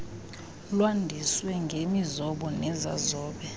lwandiswe ngemizobo nezazobe